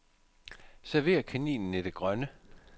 Server kaninen i det grønne.